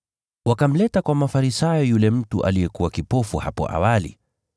Wakamleta kwa Mafarisayo yule mtu aliyekuwa kipofu hapo awali.